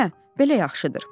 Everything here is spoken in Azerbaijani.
Hə, belə yaxşıdır.